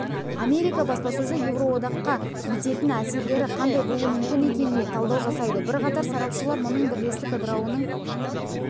америка баспасөзі еуроодаққа ететін әсерлері қандай болуы мүмкін екеніне талдау жасайды бірақатар сарапшылар мұның бірлестік ыдырауының